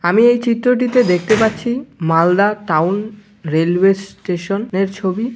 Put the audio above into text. আমি এই চিত্রটিতে দেখতে পাচ্ছি মালদা টাউন রেলওয়ে স্টেশন-এর ছবি।